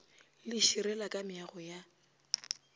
le širela ka meago ya